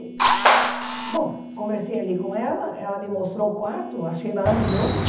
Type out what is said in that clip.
Bom, conversei ali com ela, ela me mostrou o quarto, achei maravilhoso.